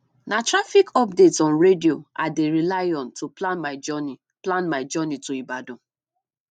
na traffic updates on radio i dey rely on to plan my journey plan my journey to ibadan